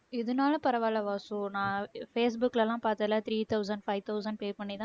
இதனால பரவாயில்லை வாசு. நான் ஃபேஸ்புக்ல எல்லாம் பார்த்ததுல three thousand, five thousand pay பண்ணிதான்.